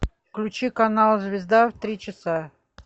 включи канал звезда в три часа